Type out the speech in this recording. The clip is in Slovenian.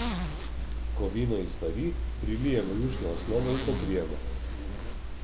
Ko vino izpari, prilijemo jušno osnovo in pokrijemo.